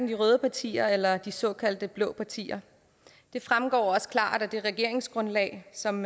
de røde partier eller de såkaldte blå partier det fremgår også klart af det regeringsgrundlag som